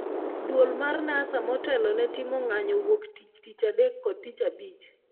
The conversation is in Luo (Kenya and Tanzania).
Duol mar NASA motelo ne timo ng'anyo wuok tich, tich adek kod tich abich